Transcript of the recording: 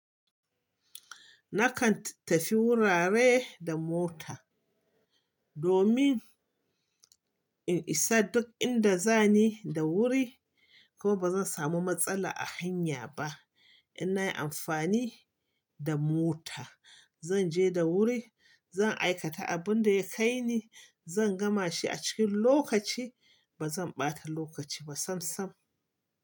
Nakan tafi wurare da mota domin in isa duk inda zani da wuri, kuma bazan samu matsala a hanya ba. In nayi amfani da mota, zanje da wuri, zan aikata abin da ya kai ni, zan gama shi a cikin lokaci, bazan ɓata lokaci ba sam sam.